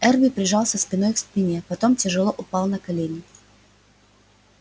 эрби прижался спиной к стене потом тяжело упал на колени